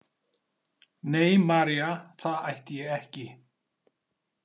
Nei María, það ætti ég ekki.